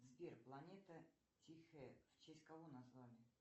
сбер планета тихая в честь кого назвали